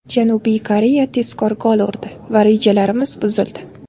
Janubiy Koreya tezkor gol urdi va rejalarimiz buzildi.